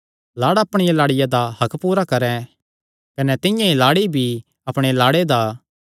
लाड़ा अपणिया लाड़िया दा हक्क पूरा करैं कने तिंआं ई लाड़ी भी अपणे लाड़े दा